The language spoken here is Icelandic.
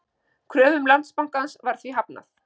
Kröfum Landsbankans var því hafnað